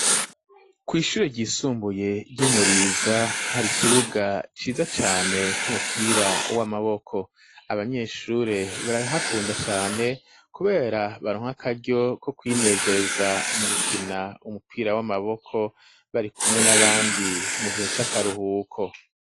Kw'ishure ryisumbuye ryi Muriza hari ikibuga ciza cane c'umupira w'amaboko abanyeshure barahakunda cane kubera baronka akaryo ko kwinezeza mu gukina umupira w'amaboko bari kumwe n'abandi mu gihe c'akaruhuko